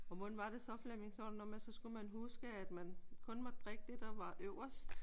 Og hvordan var det så Flemming? Så var det noget med at så skulle man huske at man kun måtte drikke det der var øverst?